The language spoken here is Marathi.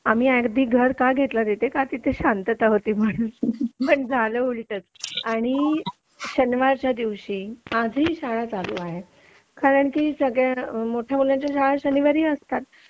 आम्ही अगदी घर का घेतलं तिथे की तिथे शांतता होती म्हणून पण झालं उलटच आणि शनिवारच्या दिवशी आजही शाळा चालू आहे कारण की सगळ्या मोठ्या मुलांच्या शाळा शनिवारी असतात